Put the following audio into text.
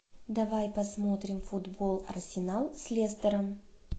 давай посмотрим футбол арсенал с лестером